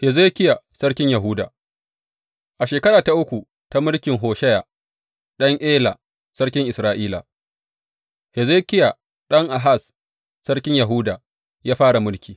Hezekiya sarkin Yahuda A shekara ta uku ta mulkin Hosheya ɗan Ela sarkin Isra’ila, Hezekiya ɗan Ahaz sarkin Yahuda ya fara mulki.